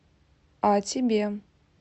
а тебе